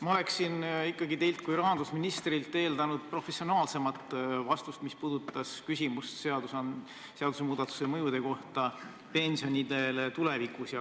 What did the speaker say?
Ma eeldasin ikkagi teilt kui rahandusministrilt professionaalsemat vastust küsimusele, mis puudutas seaduse muutmise mõju pensionidele.